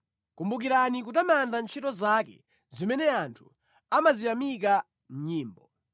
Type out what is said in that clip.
Kumbukirani kutamanda ntchito zake zimene anthu amaziyamika mʼnyimbo.